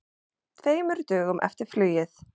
Tveimur dögum eftir flugið.